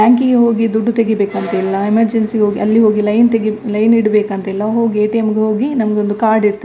Bank ಗೆ ಹೋಗಿ ದುಡ್ಡು ತೆಗೀಬೇಕು ಅಂತ ಇಲ್ಲ ಎಮರ್ಜೆನ್ಸಿ ಗೆ ಅಲ್ಲಿ ಹೋಗಿ ಲೈನ್ ತೆಗಿ ಲೈನ್ ಹಿಡಿ ಬೇಕಂತ ಇಲ್ಲ ಹೋಗಿ ಎ.ಟಿ.ಎಂ ಗೆ ಹೋಗಿ ನಮಗೆ ಒಂದು ಕಾರ್ಡ್ ಇರ್ತದೆ.